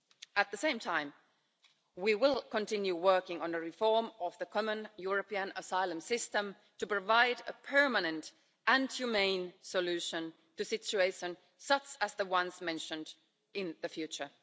At the same time, we will continue working on the reform of the Common European Asylum System to provide a permanent and humane solution to situations, such as the ones mentioned, in the future.